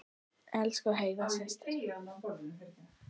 Elsku Heiða systir.